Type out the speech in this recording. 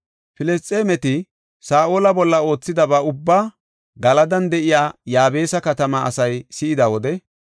Filisxeemeti Saa7ola bolla oothidaba ubbaa Galadan de7iya Yaabesa katamaa asay si7ida wode,